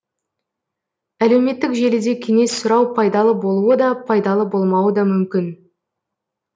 әлеуметтік желіде кеңес сұрау пайдалы болуы да пайдалы болмауы да мүмкін